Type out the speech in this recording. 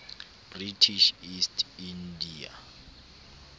british east india